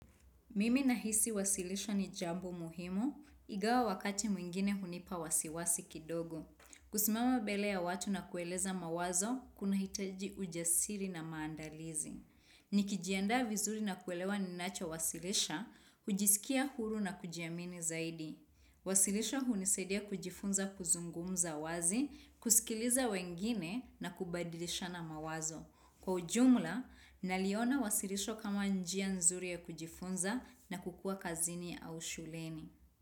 Mimi nahisi wasilisho ni jambo muhimu, ingawa wakati mwingine hunipa wasiwasi kidogo. Kusimama mbele ya watu na kueleza mawazo, kunahitaji ujasiri na maandalizi. Nikijiandaa vizuri na kuelewa ninachowasilisha, hujiskia huru na kujiamini zaidi. Wasilisha hunisaidia kujifunza kuzungumza wazi, kusikiliza wengine na kubadilishana mawazo. Kwa ujumla, naliona wasilisho kama njia nzuri ya kujifunza na kukua kazini au shuleni.